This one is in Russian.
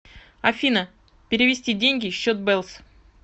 афина перевести деньги счет бэлс